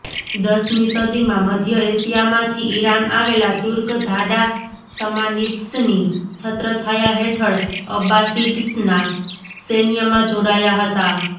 દશમી સદીમાં મધ્ય એશિયામાંથી ઈરાન આવેલા તુર્ક ધાડા સમાનિડ્સની છત્રછાયા હેઠળ અબ્બાસિડ્સના સૈન્યમાં જોડાયા હતા